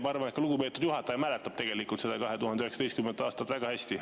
Ma arvan, et ka lugupeetud juhataja mäletab seda 2019. aastat väga hästi.